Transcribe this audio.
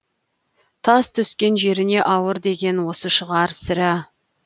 тас түскен жеріне ауыр деген осы шығар сірә